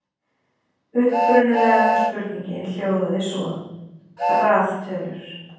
Upprunalega spurningin hljóðaði svo: Raðtölur.